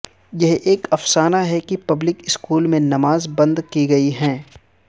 یہ ایک افسانہ ہے کہ پبلک اسکول میں نماز بند کی گئی ہے